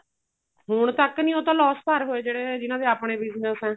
ਹੁਣ ਤੱਕ ਨੀ ਉਹ ਤਾਂ loss ਭਰ ਹੋਏ ਜਿਹੜੇ ਜਿਹਨਾ ਦੇ ਆਪਣੇ business ਏ